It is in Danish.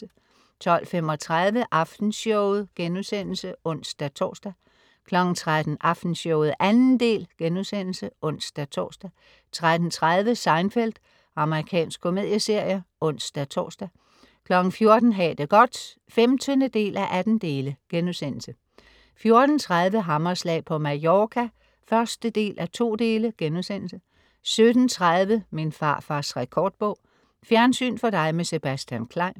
12.35 Aftenshowet* (ons-tors) 13.00 Aftenshowet 2. del* (ons-tors) 13.30 Seinfeld. Amerikansk komedieserie (ons-tors) 14.00 Ha' det godt 15:18* 14.30 Hammerslag på Mallorca 1:2* 17.30 Min farfars rekordbog. Fjernsyn for dig med Sebastian Klein